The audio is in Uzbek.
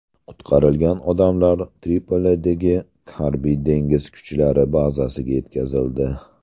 Qutqarilgan odamlar Tripolidagi harbiy dengiz kuchlari bazasiga yetkazildi.